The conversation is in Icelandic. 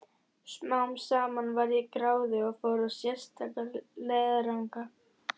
Smám saman varð ég gráðug og fór í sérstaka leiðangra.